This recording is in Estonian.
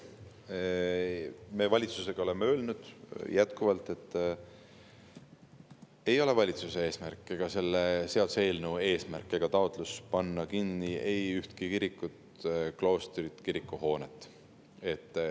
Me oleme valitsuses öelnud ja ütleme ka tulevikus, et ei valitsuse ega selle seaduseelnõu eesmärk ega taotlus ei ole panna kinni ühtegi kirikut, kloostrit ega kirikuhoonet.